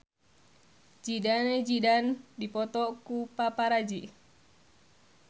Zidane Zidane dipoto ku paparazi